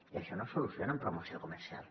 i això no es soluciona amb promoció comercial